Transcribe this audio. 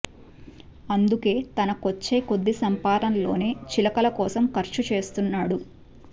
అందుకే తనకొచ్చే కొద్ది సంపాదనలోనే చిలకల కోసం ఖర్చు చేస్తున్నాడు